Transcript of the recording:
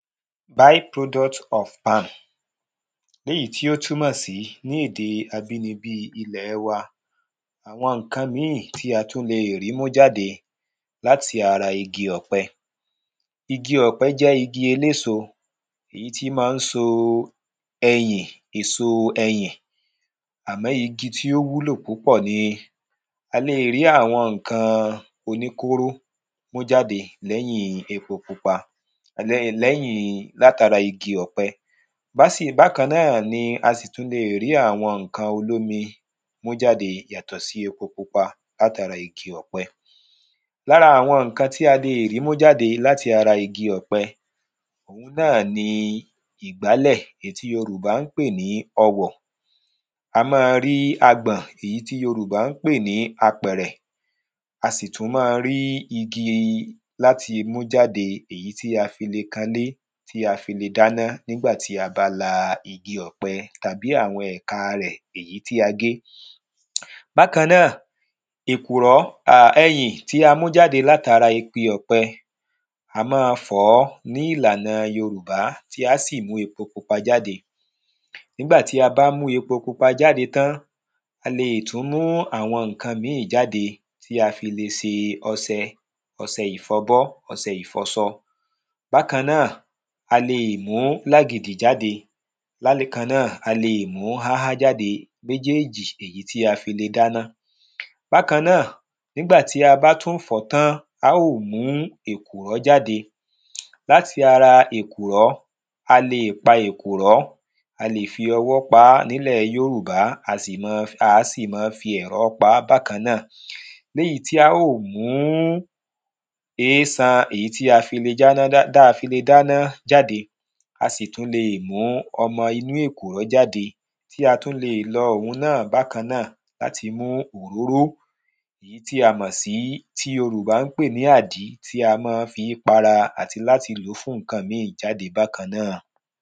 by product of am léèyí tó túnmọ̀ sí ní èdè abínibí wa àwọn nǹkan míì tí a tún le rí mú jáde láti ara igi ọ̀pẹ. Igi ọ̀pẹ jẹ́ igi eléso èyí tí mọ́ ń so ẹyìn èso ẹyìn àmọ́ igi tí ó wúlò púpọ̀ ni a lé rí àwọn nǹkan oníkóró mú jáde lẹ́yìn epo pupa ẹ lẹ́yìn látara igi ọ̀pẹ. Básì bákannáà ni a sì le rí àwọn nǹkan olómi mú jáde yàtọ̀ sí epo pupa látara igi ọ̀pẹ Lára àwọn nǹkan tí a lè rí mú jáde láti ara igi ọ̀pẹ náà ni ìgbálẹ̀ tí yorùbá ń pè ní ọwọ̀ a mọ́ rí agbọ̀n èyí tí yorùbá ń pè ní apẹ̀rẹ̀ a sì tún mọ́ rí igi láti mú jáde èyí tí a fi le kanlé tí a fi le dáná nígbà tí a bá la igi ọ̀pẹ tàbí ẹ̀ka rẹ̀ èyí tí a gé. Bákan náà èkùrọ́ ẹyìn tí a mú jáde látara igi ọ̀pẹ a mọ́ fọ̀ọ́ ní ìlànà yorùbá tí á sì mú epo pupa jáde nígbà tí a bá mú epo pupa jáde tán a le tún mú àwọn nǹkan míì jáde tí a fi le se ọsẹ ọsẹ ìfọbọ́ ọsẹ ìfọsọ. Bákan náà a le mú làgìdì jáde bákan náà a le mú háhá jáde èjí tí a lè fi dáná Bákan náà nígbà tí a bá tún fọ̀ọ́ tán á ó mú èkùrọ́ jáde láti ara èkùrọ́ a le pa èkùrọ́ a lè fi ọwọ́ pá nílẹ̀ yorùbá a lè á sí má fi ẹ̀rọ pá bákan náà léyìí tí á ó mú ésan èyí tí a fi le tá fi le jáná dáná jáde a sì tún le mú ọmọ inú èkùrọ́ jáde tí a tún le lọ òhun náà bákan náà láti mú òróró tí a mọ̀ sí tí yorùbá ń pè ní àdí tí a mọ́ ń fí para àti láti lò fún nǹkan mí bákan náà.